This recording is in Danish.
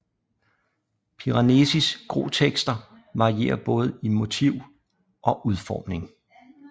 Piranesis Grotekster varierer både i motiv og udformning